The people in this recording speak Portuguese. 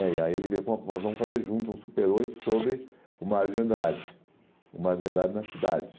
E aí ele veio com uma propos e falou, nós vamos fazer junto um super oito sobre o Mario de Andrade, o Mario de Andrade na cidade.